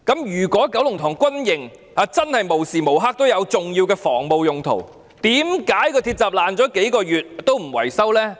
如果九龍塘軍營真的無時無刻也有重要的防務用途，為何鐵閘損毀數月仍不維修呢？